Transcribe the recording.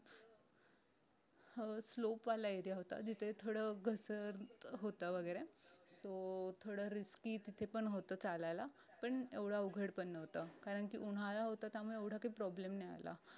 अह slope वाला area होता जिथे थोडं घसर होत वैगेरे तो थोडं risky तिथे पण होत चालायला पण येवड अवघड पण नव्हतं कारण की उन्हाळा होता त्यामुळे येवडा काही problem नाय आला